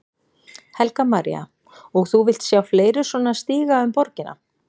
Helga María: Og þú vilt sjá fleiri svona stíga um borgina?